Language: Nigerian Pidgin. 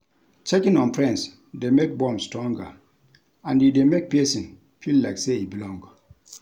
Checking on friends de make bond stronger and e de make persin feel like say e belong